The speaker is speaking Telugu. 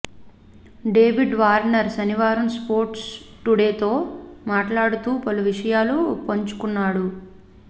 డేవిడ్ వార్నర్ శనివారం స్పోర్ట్స్ టుడేతో మాట్లాడుతూ పలు విషయాలు పంచుకున్నాడు